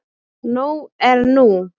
Nóg er nú.